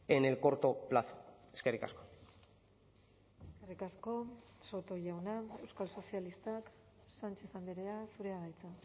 en el corto plazo eskerrik asko eskerrik asko soto jauna euskal sozialistak sánchez andrea zurea da hitza